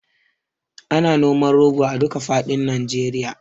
Ana noman rogo a duka faɗin Nijeriya